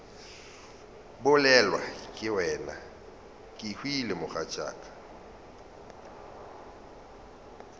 bolelwa ke wena kehwile mogatšaka